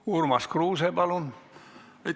Urmas Kruuse, palun!